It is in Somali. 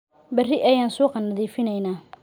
Berri ayaan suuqa nadiifinaynaa